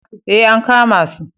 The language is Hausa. Ee, an kama su.